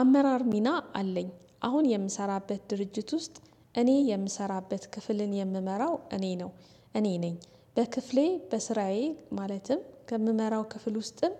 አመራር ሚና አለኝ አሁን የምሰራበት ድርጅት ውስጥ እኔ የምሰራበት ክፍልን የምመራው እኔ ነው እኔ ነኝ በክፍሌ በስራዬ ማለትም ከምመራው ክፍል ውስጥም